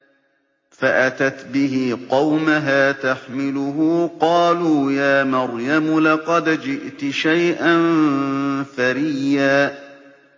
فَأَتَتْ بِهِ قَوْمَهَا تَحْمِلُهُ ۖ قَالُوا يَا مَرْيَمُ لَقَدْ جِئْتِ شَيْئًا فَرِيًّا